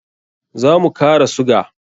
Za mu kara suga.